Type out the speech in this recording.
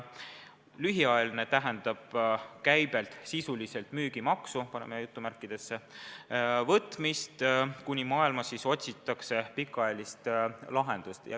Lühiajaline tähendab käibelt sisuliselt "müügimaksu" võtmist, kuni maailmas otsitakse pikaajalist lahendust.